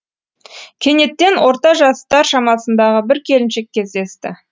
кенеттен орта жастар шамасындағы бір келіншек кездесті